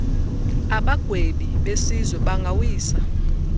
abagwebi besizwe bangawisa